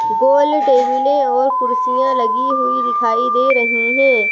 गोल टेबलें और कुर्सियाँ लगी हुई दिखाई दे रही हैं।